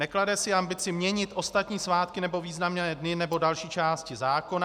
Neklade si ambici měnit ostatní svátky nebo významné dny nebo další části zákona.